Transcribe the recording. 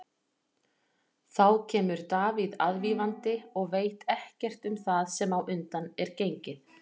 Þá kemur Davíð aðvífandi og veit ekkert um það sem á undan er gengið.